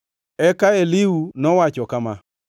Eka Elihu nowacho kama: